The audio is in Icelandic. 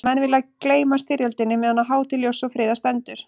Menn vilja gleyma styrjöldinni meðan á hátíð ljóss og friðar stendur.